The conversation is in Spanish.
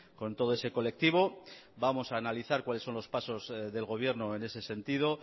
con todo ese colectivo vamos a analizar cuáles son los pasos del gobierno en ese sentido